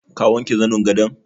Ka wanke zanin gadon?